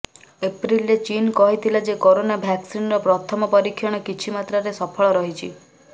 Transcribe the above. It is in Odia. ଏପ୍ରିଲରେ ଚୀନ୍ କହିଥିଲା ଯେ କରୋନା ଭ୍ୟାକ୍ସିନ୍ର ପ୍ରଥମ ପରୀକ୍ଷଣ କିଛି ମାତ୍ରାରେ ସଫଳ ରହିଛି